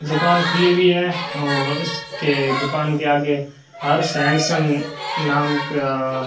दुकान खुली हुई है और उसके दुकान के आगे हर्ष एंड सन नाम का --